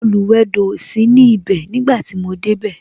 Oluwedo o sí ní ibè nígbà tí mo dé bẹ